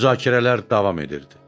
Müzakirələr davam edirdi.